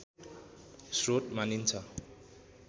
स्रोत मानिन्छ